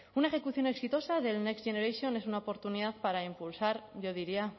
una ejecución exitosa del next generation es una oportunidad para impulsar yo diría